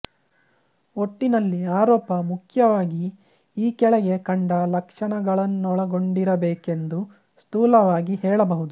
ಒಟ್ಟಿನಲ್ಲಿ ಆರೋಪ ಮುಖ್ಯವಾಗಿ ಈ ಕೆಳಗೆ ಕಂಡ ಲಕ್ಷಣಗಳನ್ನೊಳಗೊಂಡಿರಬೇಕೆಂದು ಸ್ಥೂಲವಾಗಿ ಹೇಳಬಹುದು